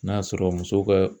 N'a sɔrɔ muso ka